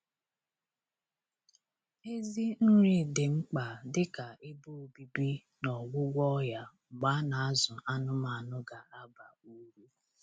Ezi nri dị mkpa dị ka ebe obibi na ọgwụgwọ ọya mgbe a na-azụ anụmanụ ga-aba uru